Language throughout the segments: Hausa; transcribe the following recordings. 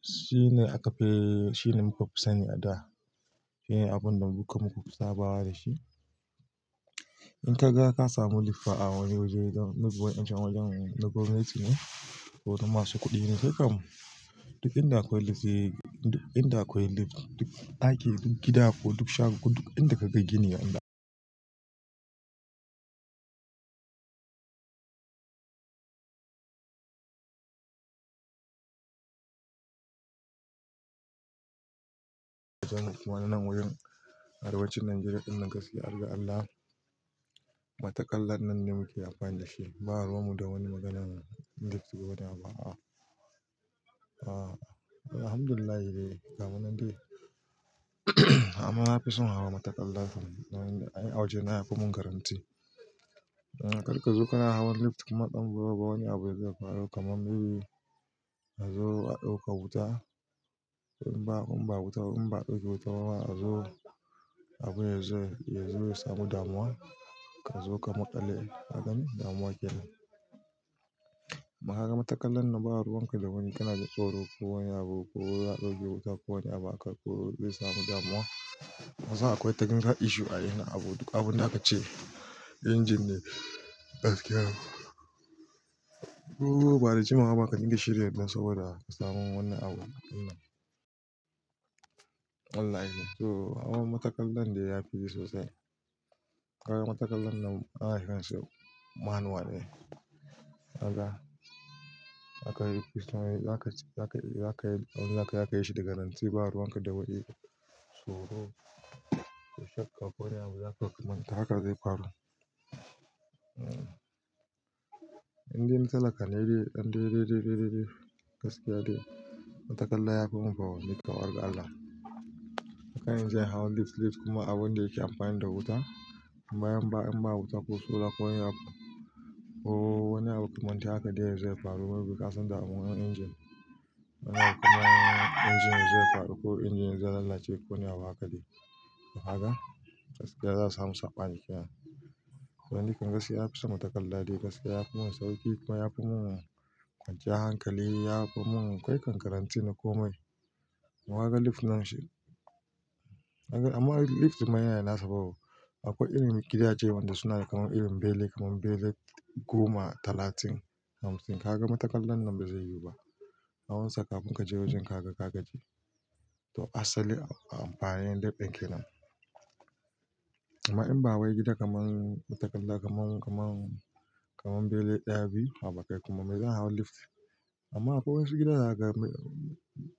shine akafi, shine muka fi sani a da. Shine abun da duka muka fi sabawa da shi. In ka ga ka samu lif a wani waje, may be wa'incan wajen na gwamnati ne, ko na masu kuɗi ne. Kai kam duk inda akwai lif, duk inda akwai lif, duk ɗaki, duk gida ko duk shago, duk inda ka ga gini, inda wannan wajen a arewacin Najeriya ɗin nan gaskiya harga Allah, matakalla ɗinnan ne muke amfani da shi. Ba ruwan mu da wani maganan lift ko wani abu a'a. Alhamdulillahi dai gamunan dai. Amma na fi son hawa matakalla. A waje na yafi mun garanti. Karka zo kana hawan lift kuma ɗan bura uba wani abu yazo ya faru, kamar may be a zo a ɗauka wuta. In ba- in ba wuta ba-, in ba'a ɗauke wuta ba a zo abu yazo, yazo ya samu damuwa. Ka zo ka maƙale kagani damuwa kenan. Amma ka ga matakalan nan ba ruwan ka da wani. Kana ji tsoro, ko wani abu ko a ɗauke wuta ko wani abu aka ko zai samu damuwa. Kasan akwai technical issue a yayin abu, duk abun da aka ce injin ne, gaskiya, ko ba da jimawa ba ka dinga shirya don saboda ka samu wani abu ɗinnan. Wallahi. To hawa matakalan de yafi yi sosai. Ka ga matakalan nan ana kiransu manual ne. Kaga, zaka yi, zaka yi, zaka yi, abun da zakai zaka yi shi da garanti ba ruwan ka wani. Tsoro, ko shakka, ko wani abu zaka kuma haka zai faru. In dai na talaka nai dai. Ɗan dai, dai, dai, dai gaskiya dai. Matakalla yafi mun fa, ni kawar ga Allah. Haka nan inje in hau lif, lif kuma abun da yake amfani da wuta. Amma in ba, in ba wuta ko solar ko wani abu, ko wani abu makamantan haka dai ya zo ya faru, may be kasan damuwar injin. Injin yazo ya faɗi ko injin yazo ya lallace ko wani abu haka dai. To kaga, gaskiya za'a samu saɓani kenan. To ni kan gaskiya nafi son matakalla dai gaskiya. Yafi mun sauƙi kuma yafi mun kwanciyar hankali. Yafi mun, kawai kan garanti na komai. To kaga lif dinnan shi, amma lif ɗinnan yana da nasa fa wo, akwai irin gidaje wanda suna da kamar irin bene, kamar bene goma talatin, hamsin. Ka ga matakalan nan bazai yiwu ba. Awon sa kafun ka je wajen ka ga ka gaji. To asali a amfani lif ɗin kenan. Amma in ba wai gida kamar matakalla kamar, kamar, kamar bene ɗaya biyu haba kai kuma me zan hau lif. Amma akwai wasu gidan zakaga,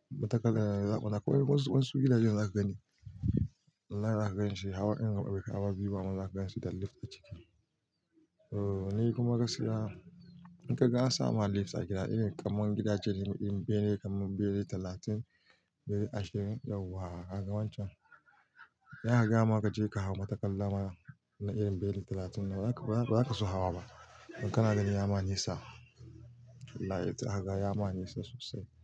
matakalla, akwai wasu, wasu gidajen za ka gani. Wallahi za ka ganshi hawa iri baifi hawa biyu ba amman za ka ganshi da lif a ciki. To ni kuma gaskiya, in ka ga an sama lif a gida irin kamar gida ace irin bene kamar bene talatin, bene ashirin yau wa, kaga wancan. Idan aka gayama ka je ka hau matakalla na irin bene talatin nan ba za ka, ba za ka so hawa ba. Kana gani ya ma nisa. Wallahi zaka ga ya ma nisa sosai.